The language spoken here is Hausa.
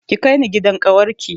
Ki kai ni gidan ƙawar ki